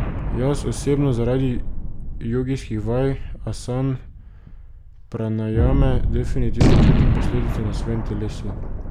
Jaz osebno zaradi jogijskih vaj, asan, pranajame definitivno čutim posledice na svojem telesu.